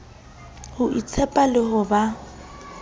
ho itshepa le ho ba